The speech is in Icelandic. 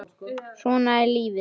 Svona er lífið!